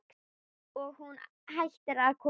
Og hún hætti að koma.